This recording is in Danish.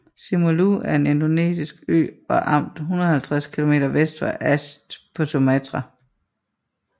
Simeulue er en indonesisk ø og amt 150 km vest for Aceh på Sumatra